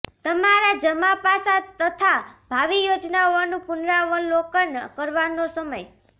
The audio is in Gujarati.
તમારાં જમા પાસાં તથા ભાવિ યોજનાઓનું પુનરાવલોકન કરવાનો સમય